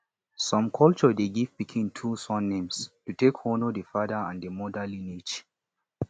some culture de give pikin two surnames to take honor the father and the mother lineage